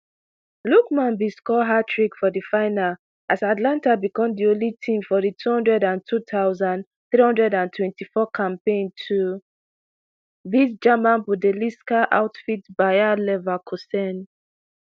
lookman bin score hattrick for di final as atalanta becom di only team for di two hundred and two thousand, three hundred and twenty-four campaign to beat german bundelisca outfit bayer leverkusen